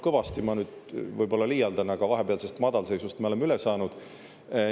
"Kõvasti" – ma nüüd võib-olla liialdan, aga vahepealsest madalseisust me oleme üle saanud.